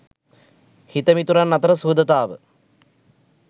හිතමිතුරන් අතර සුහදතාව